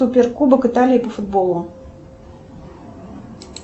суперкубок италии по футболу